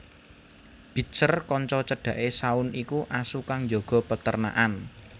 Bitzer kanca cedhake Shaun iku asu kang njaga perternakan